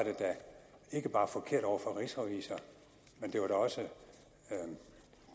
ikke bare forkert over for rigsrevisor men det var også